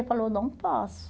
Ele falou, não posso.